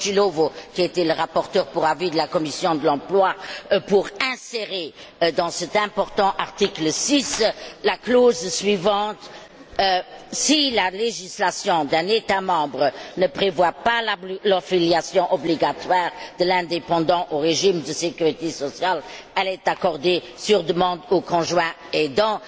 Cocilovo, qui était le rapporteur pour avis de la commission de l'emploi, pour insérer dans cet important article 6 la clause suivante Si la législation d'un État membre ne prévoit pas l'affiliation obligatoire de l'indépendant au régime de sécurité sociale, elle est accordée sur demande au conjoint aidant.